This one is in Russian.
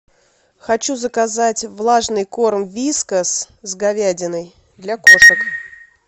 хочу заказать влажный корм вискас с говядиной для кошек